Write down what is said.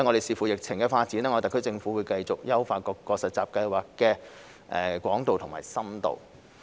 視乎疫情發展，特區政府將會繼續優化各個實習計劃的廣度和深度。